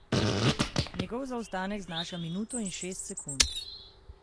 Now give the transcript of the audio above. Njegov zaostanek znaša minuto in šest sekund.